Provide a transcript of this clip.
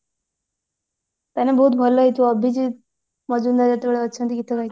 ତମାନେ ବହୁତ ଭଲ ହେଇଥିବ ଅଭିଜିତ ମଜୁମଦାର ଗୀତ ଗାଇଛନ୍ତି ଗୀତ ଗାଇଛନ୍ତି